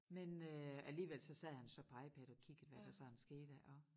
Men øh alligevel så sad han jo så på IPad og kiggede hvad der sådan skete og